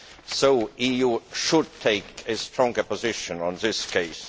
The EU should take a stronger position on this case.